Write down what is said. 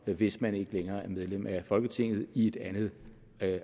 hvis man ikke længere er medlem af folketinget i et andet